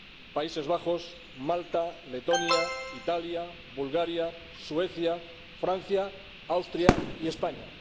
Países Bajos, Malta, Letonia, Italia, Bulgaria, Suecia, Francia, Austria y España.